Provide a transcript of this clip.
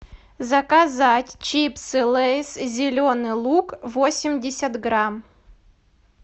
заказать чипсы лейс зеленый лук восемьдесят грамм